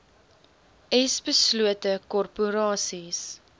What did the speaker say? s beslote korporasies